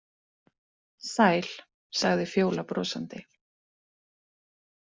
Sæl, sagði Fjóla brosandi.